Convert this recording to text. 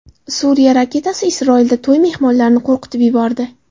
Suriya raketasi Isroilda to‘y mehmonlarini qo‘rqitib yubordi .